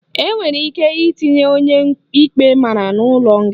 Enwere ike itinye onye ikpe mara n'ụlọ nga